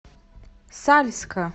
сальска